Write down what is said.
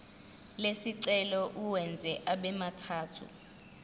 lesicelo uwenze abemathathu